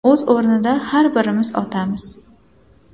O‘z o‘rnida har birimiz otamiz.